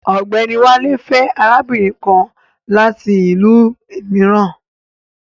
Ọ̀gbẹ́ni Wálé fẹ́ arábìnrin kan láti ìlú mìíràn